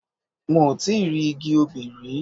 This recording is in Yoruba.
Mo ti rí igi obì rí.